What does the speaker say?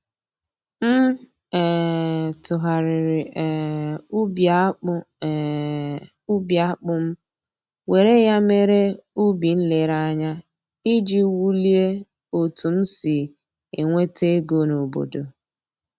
M um tụgharịrị um ubi akpụ um ubi akpụ m were ya mere ubi nlereanya iji wulie otu m si enweta ego n'obodo